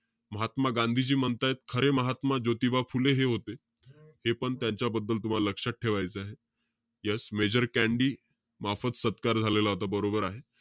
महात्मा गांधीजी म्हणतायत, अरे महात्मा ज्योतिबा फुले हे होते. हेपण तुम्हाला त्यांच्याबद्दल लक्षात ठेवायचंय. Yes major कँडी मोफत सत्कार झालेला होता. बरोबर आहे.